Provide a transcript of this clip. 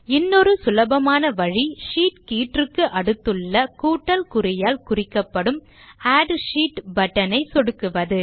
இன்னொரு சுலபமான வழி ஷீட் கீற்றுக்கு அடுத்துள்ள கூட்டல் குறியால் குறிக்கப்படும் ஆட் ஷீட் பட்டன் ஐ சொடுக்குவது